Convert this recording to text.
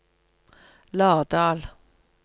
Lardal